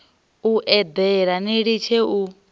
u eḓela ni litshe u